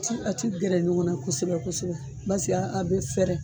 A ti a ti gɛrɛ ɲɔgɔn na kosɛbɛ kosɛbɛ baseke a bi fɛrɛ